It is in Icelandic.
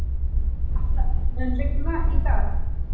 Atla, mun rigna í dag?